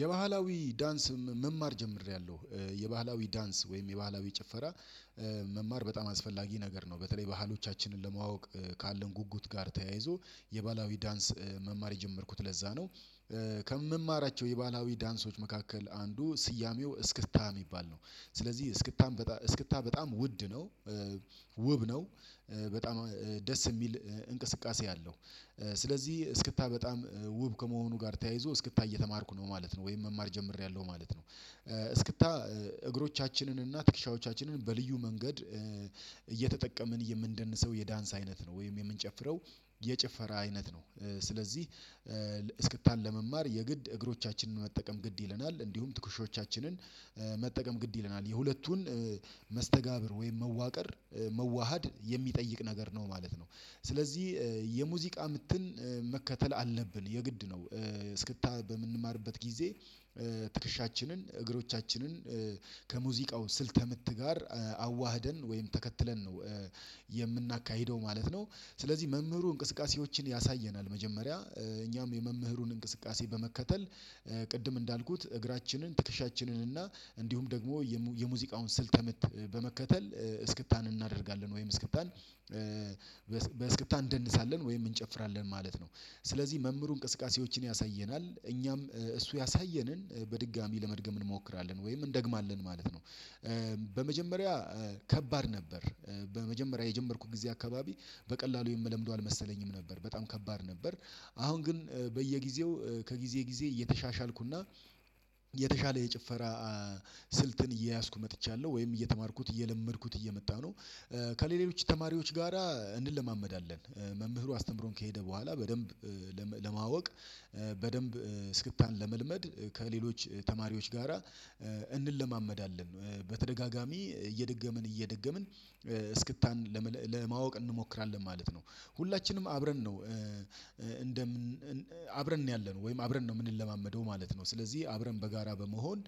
የባህላዊ ዳንስ መማር ጀምሬያለሁ የባህላዊ ዳንስ ወይም የባህላዊ ጭፈራ መማር በጣም አስፈላጊ ነገር ነው። በተለይ ባህሎቻችንን ለማወቅ ካለን ጉጉት ጋር ተያይዞ የባህላዊ ዳንስ መማር የጀመርኩት ለዛ ነው። ከምማራቸው የባህላዊ ዳንሶች መካከል አንዱ ስያሜው እስክታ የሚባል ነው። ስለዚህ እስክታ እስክታ በጣም ውድ ነው። ውብ ነው በጣም ደስ የሚል እንቅስቃሴ አለው። ስለዚህ እስክታ በጣም ውብ ከመሆኑ ጋር ተያይዞ እስክታ እየተማርኩ ነው ማለት ነው ወይም መማር ጀምሬያለሁ ማለት ነው። እስክታ እግሮቻችንን እና ትክሻዎቻችንን በልዩ መንገድ የምንደንሰው የዳንስ አይነት ነው ወይም የምንጨፍረው የጭፈራ አይነት ነው። ስለዚህ እስክታን ለመማር የግድ እግሮቻችንን መጠቀም ግድ ይለናል እንዲሁም ትኩሾቻችንን መጠቀም ግድ ይለናል የሁለቱን መስተጋብር ወይም መዋቀር መዋሃድ የሚጠይቅ ነገር ነው ማለት ነው። ስለዚህ የሙዚቃ ምትን መከተል አለብን የግድ ነው። እስክታ በምንማርበት ጊዜ ትክሻችንን እግሮቻችንን ከሙዚቃው ስልተምት ጋር አዋህደን ወይም ተከትለን ነው የምናካሂደው ማለት ነው። ስለዚህ መምህሩ እንቅስቃሴዎችን ያሳየናል መጀመሪያ እኛም የመምህሩን እንቅስቃሴ በመከተል ቅድም እንዳልኩት እግራችንን ትከሻችንን እና እንዲሁም ደግሞ የሙዚቃውን ስልተምት በመከተል እስክታን እናደርጋለን ወይም እስክታን በእስክታ እንደንሳለን ወይም እንጨፍራለን ማለት ነው። ስለዚህ መምህሩ እንቅስቃሴዎችን ያሳየናል እኛም እሱ ያሳየንን በድጋሚ ለመድገም እንሞክራለን ወይም እንደግማለን ማለት ነው። በመጀመሪያ ከባድ ነበር በመጀመሪያ የጀመርኩት ጊዜ አካባቢ በቀላሉ የምለምደው አልመሰለኝም ነበር በጣም ከባድ ነበር። አሁን ግን በየጊዜው ከጊዜ ጊዜ እየተሻሻልኩና የተሻለ የጭፈራ ስልትን እየያዝኩ መጥቻለሁ ወይም እየተማርኩት እየለመድኩት እየመጣሁ ነው። ከሌሎች ተማሪዎች ጋራ እንለማመዳለን መምህሩ አስተምሮን ከሄደ በኋላ በደንብ ለማወቅ በደንብ እስክታን ለመልመድ ከሌሎች ተማሪዎች ጋራ እንለማመዳለን በተደጋጋሚ እየደገምን እየደገምን እስክታን ለማወቅ እንሞክራለን ማለት ነው። ሁላችንም አብረን ነው እንደምን አብረን ነው ያለነው ወይም አብረን ነው የምንለማመደው ማለት ነው ስለዚህ አብረን በጋራ በመሆን